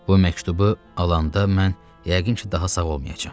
Bu məktubu alanda mən yəqin ki, daha sağ olmayacam.